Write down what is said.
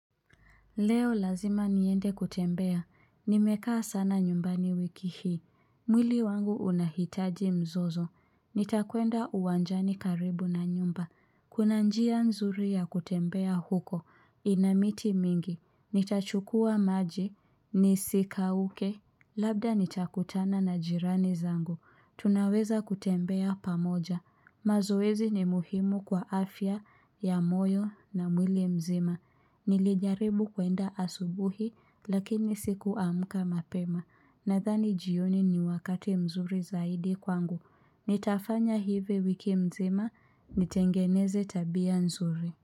Leo lazima niende kutembea nimekaa sana nyumbani wiki hii, mwili wangu unahitaji mzozo, nitakwenda uwanjani karibu na nyumba, kuna njia nzuri ya kutembea huko ina miti mingi nitachukua maji, nisikauke, labda nitakutana na jirani zangu, tunaweza kutembea pamoja, mazoezi ni muhimu kwa afya ya moyo na mwili mzima. Nilijaribu kuenda asubuhi lakini sikuamka mapema. Nadhani jioni ni wakati mzuri zaidi kwangu Nitafanya hivi wiki mzima nitengeneze tabia nzuri.